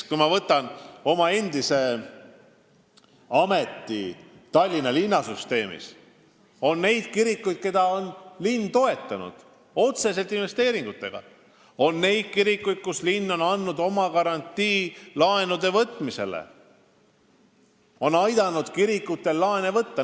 Kui ma meenutan oma endist ametit Tallinna linna süsteemis, siis mulle meenub, et on kirikuid, mida on linn toetanud otseselt investeeringutega, on kirikuid, millele linn on andnud laenuvõtmisel garantii, ta on aidanud kirikutel laenu võtta.